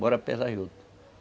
Bora pesar juta.